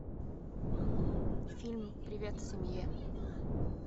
фильм привет семье